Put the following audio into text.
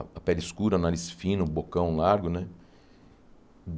A a pele escura, o nariz fino, o bocão largo, né?